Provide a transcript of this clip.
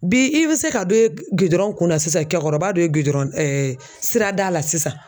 Bi i bɛ se ka dɔ ye gidɔrɔn kunna sisan cɛkɔrɔba dɔ ye gidɔrɔn sirada la sisan.